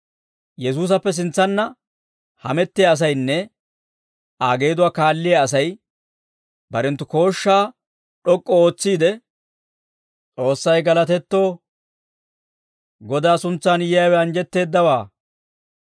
Yesuusappe sintsanna hamettiyaa asaynne Aa geeduwaa kaalliyaa Asay barenttu kooshshaa d'ok'k'u ootsiide, «S'oossay galatetto! Godaa suntsan yiyaawe anjjetteeddawaa.